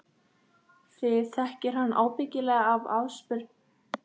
Þig þekkir hann ábyggilega af afspurn.